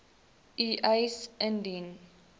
u eis indien